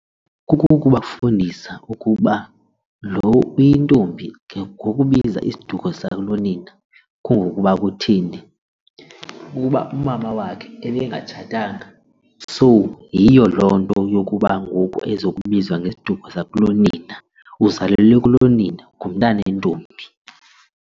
Kukubafundisa ukuba loo uyintombi ngokubiza isiduko sakulonina kungokuba kutheni ukuba umama wakhe ebengatshatanga, so yiyo loo nto yokuba ngoku ezokubizwa ngesiduko sakulonina uzalelwe kulonina ngumntana wentombi.